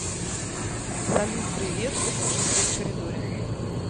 салют привет выключи свет в коридоре